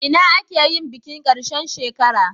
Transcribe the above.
Ina aka yi bikin karshe shekara?